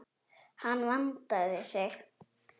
Hann vandaði sig.